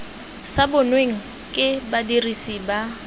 sa bonweng ke badirisi ba